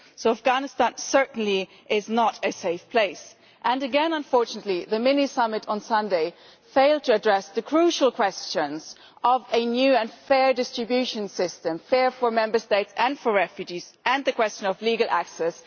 Afghanistan certainly is not a safe place and, again, unfortunately the mini summit on Sunday failed to address the crucial questions of a new and fair distribution system fair for Member States and for refugees, and the question of legal access.